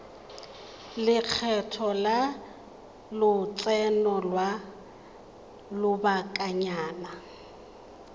lekgetho la lotseno lwa lobakanyana